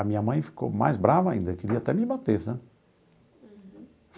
A minha mãe ficou mais brava ainda, queria até me bater, sabe?